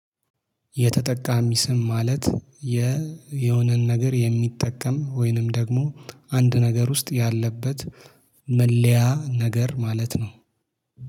የተጠቃሚ ስም ማለት የየሆነን ነገር የሚጠቀም ወይንም ደግሞ አንድ ነገር ውስጥ ያለበት መለያ ነገር ማለት ነው